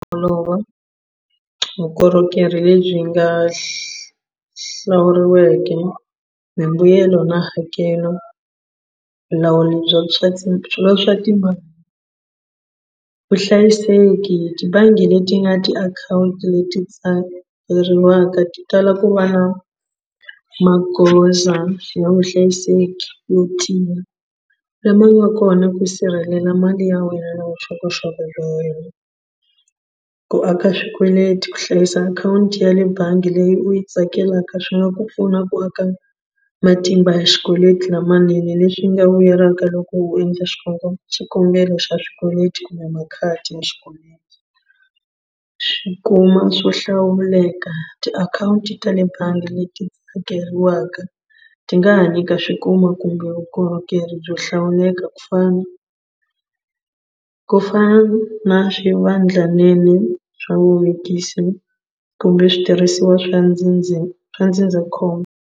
vukorhokeri lebyi nga hlawuriweke mimbuyelo na hakelo vulawuri bya swa ti swilo swa timali vuhlayiseki tibangi leti nga tiakhawunti leti tsariwaka ti tala ku va magoza ya vuhlayiseki yo tiya lama nga kona ku sirhelela mali ya wena na vuxokoxoko bya wena ku aka swikweleti ku hlayisa akhawunti ya le bangi leyi u yi tsakelaka swi nga ku pfuna ku aka matimba ya xikweleti lamanene leswi nga vuyelaka loko u endla xikombelo xikombelo xa swikweleti kumbe makhadi ya xikweleti swikuma swo hlawuleka tiakhawunti ta le bangi leti hakeriwaka ti nga ha nyika swikuma kumbe vukorhokeri byo hlawuleka ku fana ku fana na swivandlanene swa vuvekisi kumbe switirhisiwa swa swa ndzindzakhombo.